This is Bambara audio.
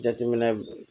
Jateminɛ